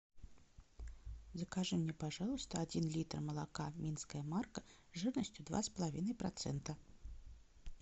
закажи мне пожалуйста один литр молока минская марка жирностью два с половиной процента